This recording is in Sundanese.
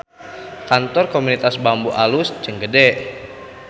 Kantor Komunitas Bambu alus jeung gede